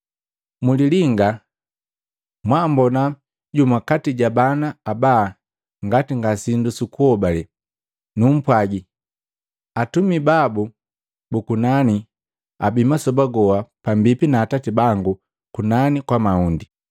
“Mulilinga, mwaambona jumu kati ja bana aba ngati nga sindu sukuhobale. Numpwagi, atumi babu bu kunani abi masoba goha pambipi na Atati bangu kunani kwa mahundi.